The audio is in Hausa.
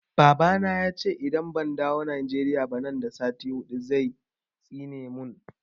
Baba na ya ce idan ban dawo Nigeria ba nan da sati huɗu zai tsine mun